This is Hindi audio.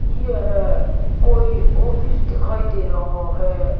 यह कोई ऑफिस दिखाई दे रहा है।